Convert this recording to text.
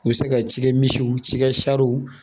U bɛ se ka cikɛ misiw cikɛ w